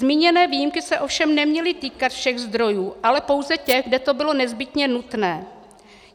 Zmíněné výjimky se ovšem neměly týkat všech zdrojů, ale pouze těch, kde to bylo nezbytně nutné.